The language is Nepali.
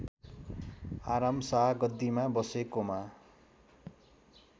आरामशाह गद्दीमा बसेकोमा